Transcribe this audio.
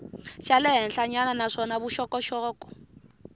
xa le henhlanyana naswona vuxokoxoko